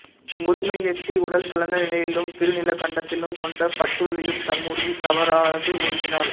முதுமையெய்தி உடல் தளர்ந்த நிலையிலும் திருநீலகண்டத்திலும் கொண்ட பற்றுறுதியும் தம் உறுதி தவறாது ஒழுகினர்